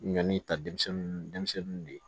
Ɲɔni ta denmisɛnninw de ye